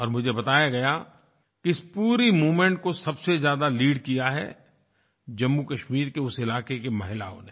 और मुझे बताया गया इस पूरे मूवमेंट को सबसे ज्यादा लीड किया है जम्मूकश्मीर के उस इलाके की महिलाओं ने